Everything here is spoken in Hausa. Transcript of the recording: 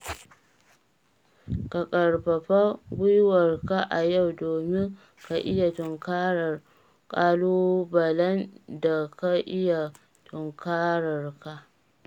Ka ƙarfafa gwiwarka a yau domin ka iya tunkarar ƙalubalen da ka iya tunkararka.